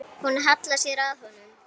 Hún hallar sér að honum.